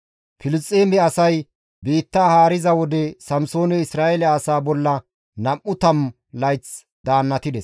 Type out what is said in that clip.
Filisxeeme asay biittaa haariza wode Samsooney Isra7eele asaa bolla nam7u tammu layth daannatides.